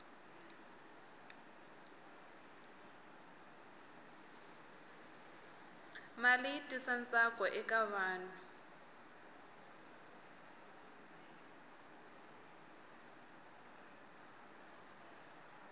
mali yi tisa ntsakoeka vanhu